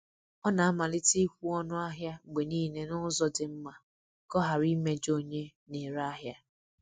Ọ na-amalite ịkwụ ọnụ ahịa mgbe niile n’ụzọ dị mma ka ọ ghara imejọ onye na-ere ahịa.